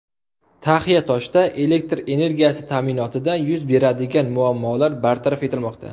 Taxiatoshda elektr energiyasi ta’minotida yuz beradigan muammolar bartaraf etilmoqda .